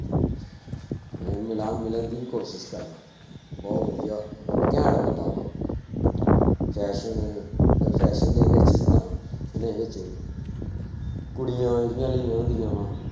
ਉਹ ਮਿਲਾਂ ਮਿਲਣ ਦੀ ਕੋਸ਼ਿਸ਼ ਕਰਾਂ ਬਹੁਤ ਵਧੀਆ ਘੈਂਟ ਬੰਦਾ ਵਾ fashion ਫਿਰ fashion ਦੇ ਵਿੱਚ ਜਿੱਦਾਂ ਕੁੜੀਆਂ ਜਿਹੜੀਆਂਂ ਲਈਆਂ ਹੁੰਦੀਆਂ ਵਾਂ